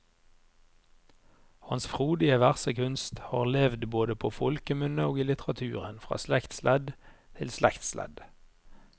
Hans frodige versekunst har levd både på folkemunne og i litteraturen fra slektsledd til slektsledd.